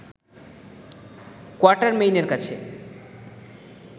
কোয়াটারমেইনের কাছে